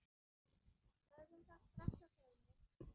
Höfum það strax á hreinu.